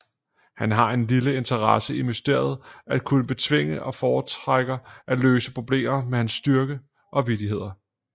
Han har en lille interesse i mysteriet at kunne betvinge og foretrækker at løse problemer med hans styrke og vittigheder